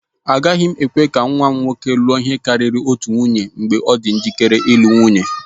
Agaghị m ekwe ka nwa m nwoke lụọ ihe karịrị otu nwunye mgbe ọ dị njikere ịlụ nwunye.